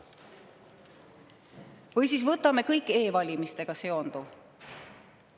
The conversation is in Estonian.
Või võtame kõik e‑valimistega seonduva.